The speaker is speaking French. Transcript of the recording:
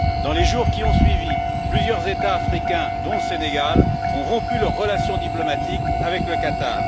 Dans les jours qui ont suivi, plusieurs États africains, dont le Sénégal, ont rompu leurs relations diplomatiques avec le Qatar.